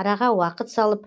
араға уақыт салып